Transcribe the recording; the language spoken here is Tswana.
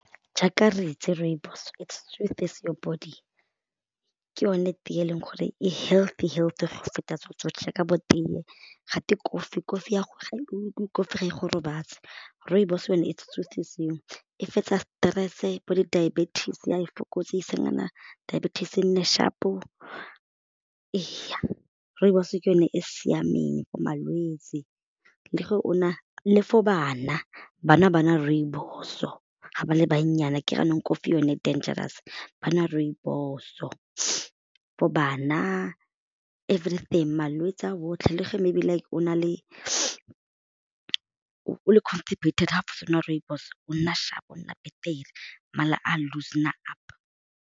Jaaka re itse rooibos it soothes your body, ke yone tee e leng gore e healthy healthy feta tse tsotlhe ka bo tee ga twe kofi, kofi ya kofi ga e go robatse rooibos yone e e fetsa stress-e bo di diabetes ya di fokotsa e se isa nyana bo dibeties e nne sharp-o, rooibos ke yone e e siameng for malwetse le for bana, bana ba nwa rooibos-o ga ba le bannyane a kere jaanong kofi yone e dangerous ba nwa re rooibos-o for bana, everything malwetse a otlhe le ge maybe o le constipated ga o fetsa go nwa rooibos o nna sharp-o nna mala a loosen-a up.